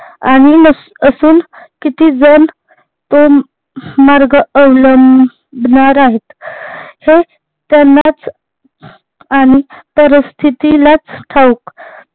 आणि असून किती जन तो मार्ग अवलंबणार आहेत हे त्यांनाच आणि परिस्थितिलाच ठाऊक